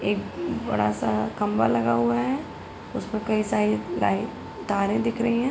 एक बड़ा सा खंभा लगा हुआ है उसपे कई सारी लाइ तारें दिख रहीं हैं।